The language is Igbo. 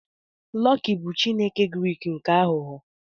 Loki bụ Chineke Grik nke aghụghọ.